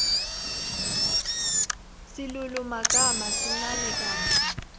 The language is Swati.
silulumagama sincane kantsi